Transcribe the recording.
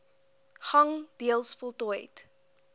gang deels voltooid